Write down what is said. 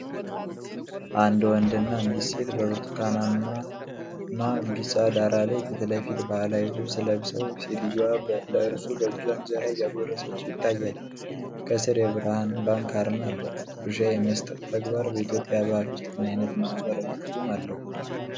አንድ ወንድና አንዲት ሴት በብርቱካናማ እና ቢጫ ዳራ ፊት ለፊት ባህላዊ ልብስ ለብሰው፣ ሴትየዋ ለእርሱ በእጇ እንጀራ እያጎረሰችው ይታያል። ከስር የብርሃን ባንክ አርማ አለ፣ ጉርሻ የመስጠት ተግባር በኢትዮጵያ ባህል ውስጥ ምን ዓይነት ማህበራዊ ትርጉም አለው?